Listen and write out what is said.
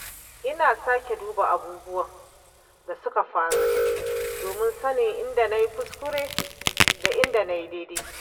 Ina sake duba abubuwan da suka faru domin sanin inda na yi kuskure da inda na yi daidai.